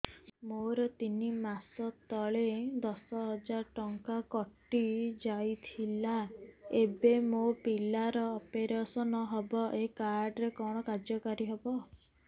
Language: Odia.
ମୋର ତିନି ମାସ ତଳେ ଦଶ ହଜାର ଟଙ୍କା କଟି ଯାଇଥିଲା ଏବେ ମୋ ପିଲା ର ଅପେରସନ ହବ ଏ କାର୍ଡ କଣ କାର୍ଯ୍ୟ କାରି ହବ